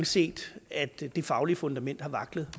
set at det faglige fundament har vaklet